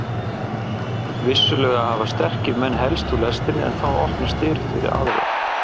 Vissulega hafa sterkir menn hellst úr lestinni en þá opnast dyr fyrir aðra.